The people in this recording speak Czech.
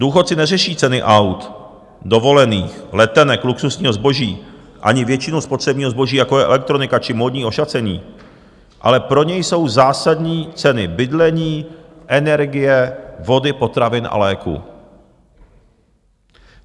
Důchodci neřeší ceny aut, dovolených, letenek, luxusního zboží ani většinu spotřebního zboží, jako je elektronika či módní ošacení, ale pro ně jsou zásadní ceny bydlení, energie, vody, potravin a léků.